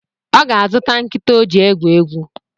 Ọ ga-zụta nkịta ọ ji egwu egwu